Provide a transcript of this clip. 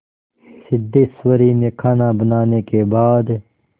सिद्धेश्वरी ने खाना बनाने के बाद